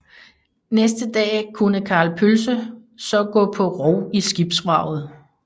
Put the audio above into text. Næste dag kunne Karl Pølse så gå på rov i skibsvraget